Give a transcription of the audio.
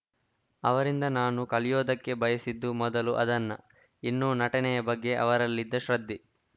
ಅವರಿಂದ ನಾನು ಕಲಿಯೋದಕ್ಕೆ ಬಯಸಿದ್ದು ಮೊದಲು ಅದನ್ನ ಇನ್ನು ನಟನೆಯ ಬಗ್ಗೆ ಅವರಲ್ಲಿದ್ದ ಶ್ರದ್ಧೆ